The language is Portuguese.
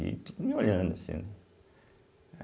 E olhando assim, né?